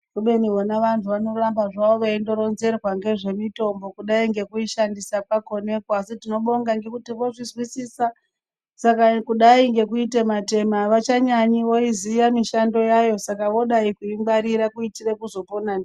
Kubeni vona vantu vanondoramba zvavo veindoronzerwe ngezvemitombo kudai ngekuishandisa kwakonekwo asi tinobonga ngekuti vozvizwisisa saka kudai ngekuitema tema avachanyanyi ngekuti voiziya mishando yayo saka vodai kuingwarira kuitire kuzopona ndiyo.